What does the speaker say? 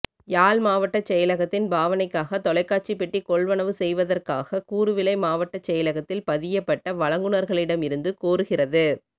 யாழ் மாவட்டச் செயலகத்தின் பாவனைக்காக தொலைக்காட்சிப் பெட்டி கொள்வனவு செய்வதற்காக கூறுவிலை மாவட்டச் செயலகத்தில் பதியப்பட்ட வழங்குனர்களிடம் இருந்து கோருகிறது